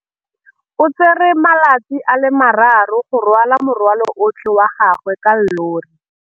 O tsere malatsi a le marraro go rwala morwalo otlhe wa gagwe ka llori.